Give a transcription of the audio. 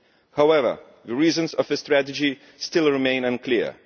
However, the reasons for this tragedy still remain unclear.